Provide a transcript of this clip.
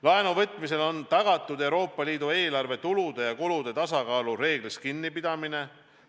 Laenu võtmisel on tagatud Euroopa Liidu eelarve tulude ja kulude tasakaalu reeglist kinnipidamine.